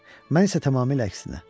Mən isə tamamilə əksinə.